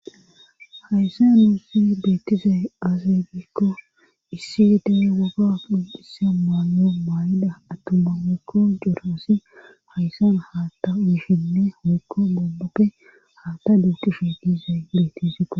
hayssan duufi beettize aazeebikko issi gedee waga pindise maano maay7ida attumma wekko joroosi hayssan haatta mishinne hoykko bomboppe haatta duutishe dize bettizikko